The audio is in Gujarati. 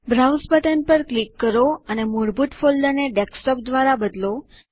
બ્રાઉઝ બટન પર ક્લિક કરો અને મૂળભૂત ફોલ્ડરને ડેસ્કટોપ દ્વારા બદલો